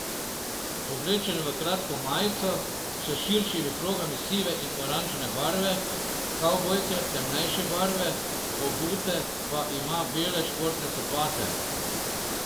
Oblečen je v kratko majico s širšimi progami sive in oranžne barve, kavbojke temnejše barve, obute pa ima bele športne copate.